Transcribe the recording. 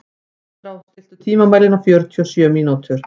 Andrá, stilltu tímamælinn á fjörutíu og sjö mínútur.